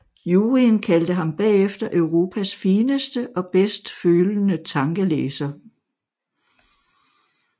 Juryen kaldte ham bagefter Europas fineste og bedst følende tankelæser